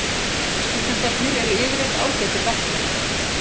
Stúdentarnir eru yfirleitt ágætir verkmenn.